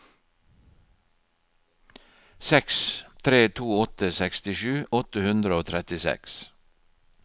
seks tre to åtte sekstisju åtte hundre og trettiseks